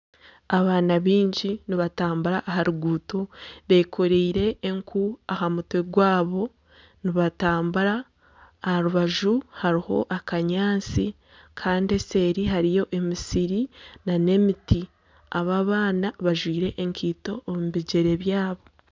Abaana baingi nibatambura aha ruguuto bekoreire enku aha mitwe gwabo nibatambura. Aha rubaju hariho akanyaatsi kandi eseeri hariyo emisiri nana emiti. Aba abaana bajwire enkaito omu bigyere byabo.